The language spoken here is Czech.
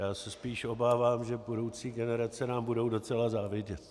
Já se spíš obávám, že budoucí generace nám budou docela závidět.